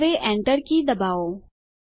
હવે Enter key દબાવો